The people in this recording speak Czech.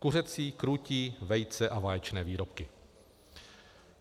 Kuřecí, krůtí, vejce a vaječné výrobky.